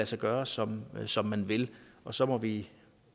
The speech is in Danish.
sig gøre som som man vil og så må vi